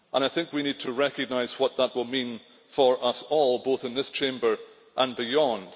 I think we need to recognise what that will mean for us all, both in this Chamber and beyond.